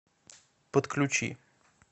подключи